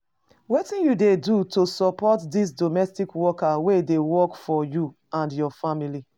Wetin you dey do to support di domestic workers wey dey work for you or your family?